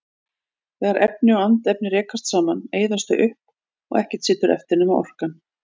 Þegar efni og andefni rekast saman eyðast þau upp og ekkert situr eftir nema orkan.